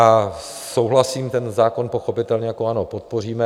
A souhlasím, ten zákon pochopitelně jako ANO podpoříme.